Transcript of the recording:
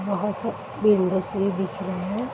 वहाँ से दिख रहे हैं।